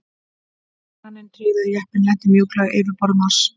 Kraninn tryggði að jeppinn lenti mjúklega á yfirborði Mars.